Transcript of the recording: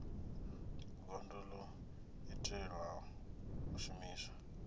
gondo ḽo itelwa u shumiswa